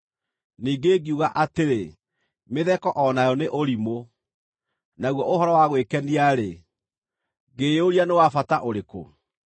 Ningĩ ngiuga atĩrĩ, “Mĩtheko o nayo nĩ ũrimũ. Naguo ũhoro wa gwĩkenia-rĩ, ngĩĩyũria nĩ wa bata ũrĩkũ?”